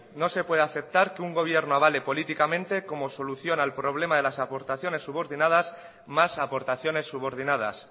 no se puede aceptar que un gobierno avale políticamente como solución al problema de las aportaciones subordinadas más aportaciones subordinadas